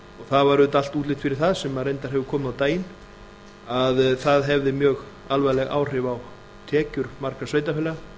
það var auðvitað allt útlit fyrir það sem reyndar hefur komið á daginn að það hefði mjög alvarleg áhrif á tekjur margra sveitarfélaga